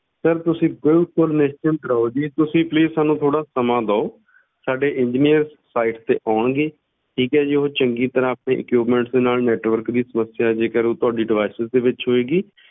Sir ਤੁਸੀਂ ਬਿਲਕੁਲ ਨਿਸ਼ਚਿੰਤ ਰਹੋ ਜੀ ਤੁਸੀਂ please ਸਾਨੂੰ ਥੋੜ੍ਹਾ ਸਮਾਂ ਦਿਓ ਸਾਡੇ engineers site ਤੇ ਆਉਣਗੇ, ਠੀਕ ਹੈ ਜੀ ਉਹ ਚੰਗੀ ਤਰ੍ਹਾਂ ਆਪਣੇ equipments ਦੇ ਨਾਲ network ਦੀ ਸਮੱਸਿਆ, ਜੇਕਰ ਉਹ ਤੁਹਾਡੇ devices ਦੇ ਵਿੱਚ ਹੋਏਗੀ,